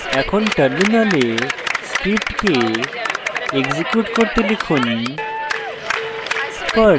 এখন terminal perl script execute করতে লিখুন